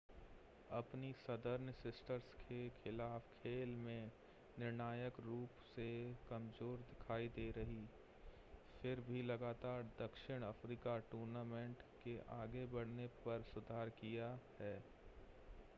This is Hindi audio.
अपनी सदर्न सिस्टर्स के खिलाफ़ खेल में निर्णायक रूप से कमज़ोर दिखाई दे रही फिर भी लगातार दक्षिण अफ़्रीका ने टूर्नामेंट के आगे बढ़ने पर सुधार किया है